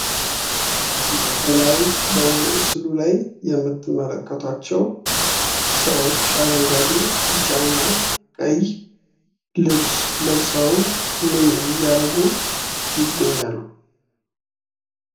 ከላይ በምስሉ ላይ የምትመለከቷቸው ሰዎች አረንጓዴ፣ ቢጫና ቀይ ልብስ ለብሰው ምን ምን እያደረጉ ይገኛሉ ?